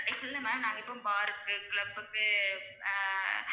இப்ப இல்ல ma'am நாங்க இப்பம் bar க்கு club க்கு அஹ்